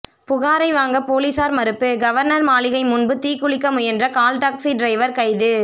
புகாரை வாங்க போலீசார் மறுப்பு கவர்னர் மாளிகை முன்பு தீக்குளிக்க முயன்ற கால்டாக்சி டிரைவர் கைது